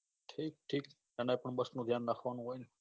ઠીક ઠીક conductor ને તો bus નું ધ્યાન રાખવાનું હોય ને